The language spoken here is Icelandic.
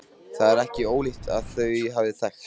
Það er ekki ólíklegt að þau hafi þekkst.